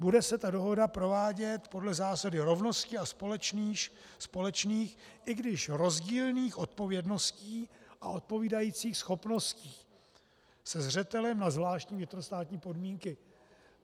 Bude se ta dohoda provádět podle zásady rovnosti a společných, i když rozdílných odpovědností a odpovídajících schopností se zřetelem na zvláštní vnitrostátní podmínky.